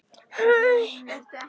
Hún trúir því.